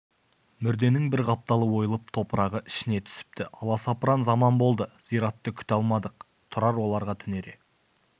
мүрденің бір қапталы ойылып топырағы ішіне түсіпті аласапыран заман болды зиратты күте алмадық тұрар оларға түнере